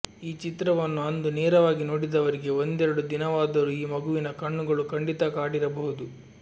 ಈ ಚಿತ್ರವನ್ನು ಅಂದು ನೇರವಾಗಿ ನೋಡಿದವರಿಗೆ ಒಂದೆರಡು ದಿನವಾದರೂ ಈ ಮಗುವಿನ ಕಣ್ಣುಗಳು ಖಂಡಿತಾ ಕಾಡಿರಬಹುದು